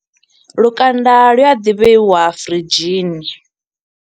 Lukanda lu a ḓi vheiwa firidzhini.